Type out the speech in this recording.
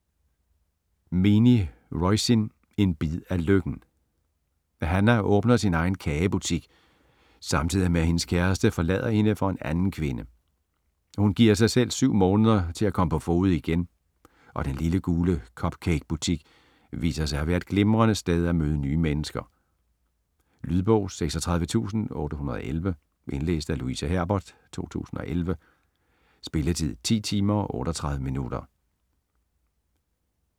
Meaney, Roisin: En bid af lykken Hannah åbner sin egen kagebutik samtidig med at hendes kæreste forlader hende for en anden kvinde. Hun giver sig selv 7 måneder til at komme på fode igen, og den lille, gule cup cake butik viser sig at være et glimrende sted at møde nye mennesker. Lydbog 36811 Indlæst af Louise Herbert, 2011. Spilletid: 10 timer, 38 minutter.